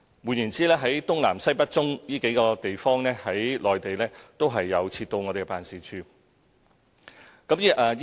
換言之，在內地的東南西北中的地方，也設有我們的辦事處。